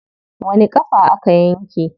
Wani ƙafa aka yanke?